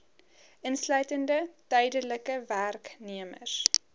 insluitende tydelike werknemers